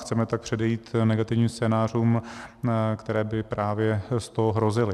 Chceme tak předejít negativním scénářům, které by právě z toho hrozily.